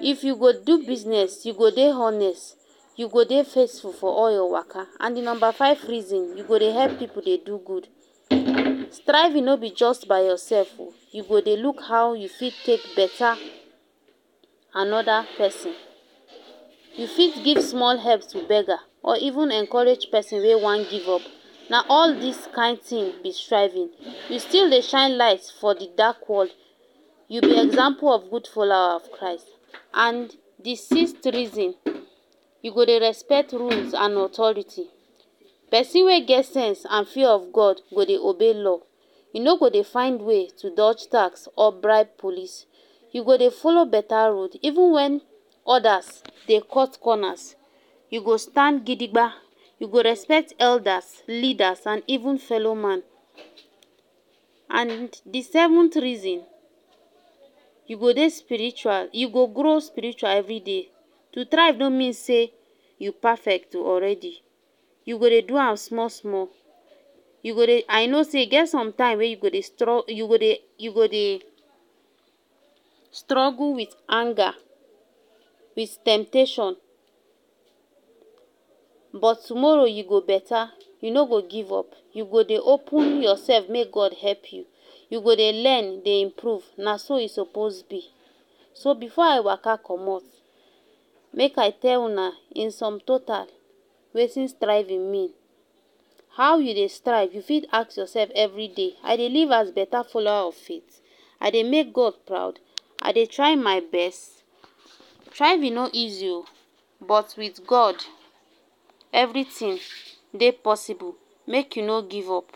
if you go do business you go dey honest you go dey faithful for all your waka and the number five reason you go dey help people dey do good striving no be just by yourself oo you go they look how you fit take better another person you fit give small help to beggar or even encourage pesin wey one give up na all this kind thing be striving you still dey shine light for di dark world you be example of good follower of Christ. And di sixth reason you go dey respect rules and authority. Pesin wey get sense and fear of God go dey obey law e no go dey go dey find ways to dodge tax or bribe police You go dey follow better road even when others dey cut corners you go stand gidigba You go respect elders, leaders and even fellow man and the seventh reason you go dey spiritual you go grow spiritual everyday to thrive no mean say you perfect um already you go dey do am small small You go dey I know say e get sometime you go dey stru you go dey you go dey struggle with anger with temptation but tomorrow e go better You no go give up you go dey open yourself make God help you you go dey go learn dey improve na so e supposed be So before I waka commot make I tell una in some total wetin striving mean How you dey strive, you fit ask yourself every day. I dey live as better follower of faith. I dey make God proud I dey try my best thriving no easier um but with God everything dey possible make you no give up.